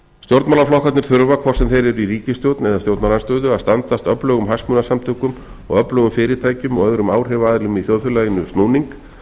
stjórnmálaflokkarnir þurfa hvort sem þeir eru í ríkisstjórn eða stjórnarandstöðu að standast öflugum hagsmunasamtökum og öflugum fyrirtækjum og öðrum áhrifaaðilum í þjóðfélaginu snúning